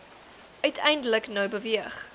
uiteindelik nou beweeg